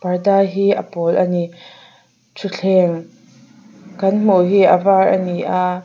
parda hi a pawl ani thuthleng kan hmuh hi a var ani a.